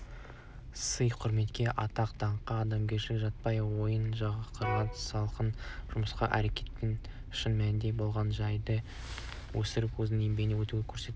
сый-құрметке атақ-даңққа адамгершілікке жатпайтын ойдан шығарылған жалған жымысқы әрекетпен шын мәнінде болған жайды өсіріп өзінің еңбегі етіп көрсетуге